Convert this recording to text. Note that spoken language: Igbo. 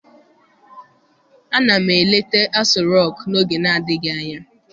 Ana m eleta Aso rock n'oge na-adịghị anya.